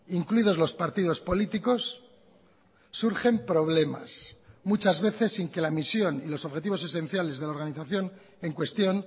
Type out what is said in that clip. incluidos los partidos políticos surgen problemas muchas veces sin que la misión y los objetivos esenciales de la organización en cuestión